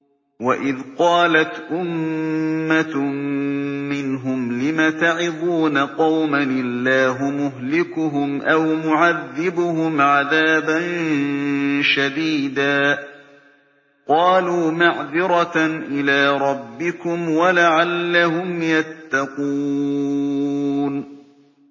وَإِذْ قَالَتْ أُمَّةٌ مِّنْهُمْ لِمَ تَعِظُونَ قَوْمًا ۙ اللَّهُ مُهْلِكُهُمْ أَوْ مُعَذِّبُهُمْ عَذَابًا شَدِيدًا ۖ قَالُوا مَعْذِرَةً إِلَىٰ رَبِّكُمْ وَلَعَلَّهُمْ يَتَّقُونَ